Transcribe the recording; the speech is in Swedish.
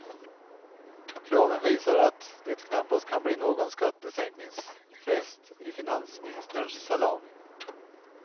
Kraven visar att det knappast kan bli någon skattesänkningsfest i finansministerns salong.